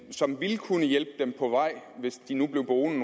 som ville kunne hjælpe dem på vej hvis de nu blev boende